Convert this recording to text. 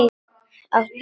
Áttu í nös?